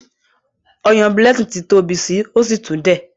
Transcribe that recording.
Oyan Blessing t'in tóbi sí, o sí tún dẹ̀.